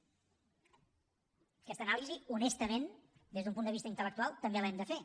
aquesta anàlisi honestament des d’un punt de vista intel·lectual també l’hem de fer